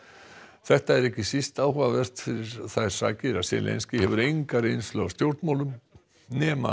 þetta er ekki síst áhugavert fyrir þær sakir að Zelensky hefur enga reynslu af stjórnmálum nema